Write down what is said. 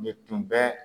Ne tun bɛ